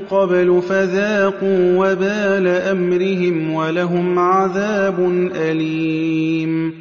قَبْلُ فَذَاقُوا وَبَالَ أَمْرِهِمْ وَلَهُمْ عَذَابٌ أَلِيمٌ